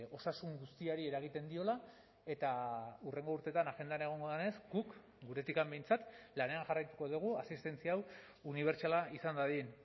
osasun guztiari eragiten diola eta hurrengo urteetan agendan egongo denez guk guretik behintzat lanean jarraituko dugu asistentzia hau unibertsala izan dadin